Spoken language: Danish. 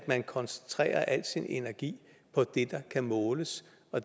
man koncentrerer al sin energi om det der kan måles